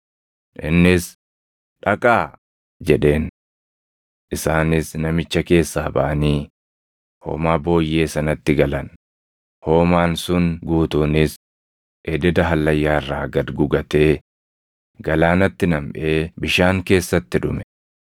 Innis, “Dhaqaa!” jedheen. Isaanis namicha keessaa baʼanii hoomaa booyyee sanatti galan; hoomaan sun guutuunis ededa hallayyaa irraa gad gugatee galaanatti namʼee bishaan keessatti dhume.